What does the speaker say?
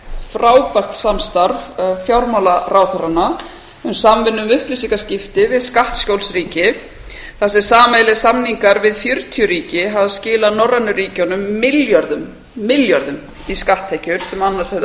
frábært samstarf fjármálaráðherranna um samvinnu við upplýsingaskipti við skattaskjólsríki þar sem sameiginlegir samningar við fjörutíu ríki hafa skilað norrænu ríkjunum milljörðum í skatttekjur sem annars hefðu